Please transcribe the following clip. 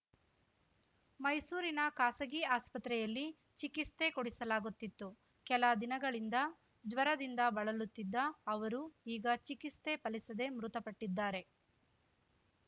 ಮೈಸೂರಿನ ಖಾಸಗಿ ಆಸ್ಪತ್ರೆಯಲ್ಲಿ ಚಿಕಿಸ್ತೆ ಕೊಡಿಸಲಾಗುತ್ತಿತ್ತು ಕೆಲ ದಿನಗಳಿಂದ ಜ್ವರದಿಂದ ಬಳಲುತ್ತಿದ್ದ ಅವರು ಈಗ ಚಿಕಿಸ್ತೆ ಫಲಿಸದೆ ಮೃತಪಟ್ಟಿದ್ದಾರೆ